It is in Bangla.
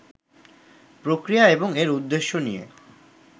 প্রক্রিয়া এবং এর উদ্দেশ্য নিয়ে